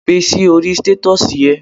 Gbe sí orí stètọ́sì e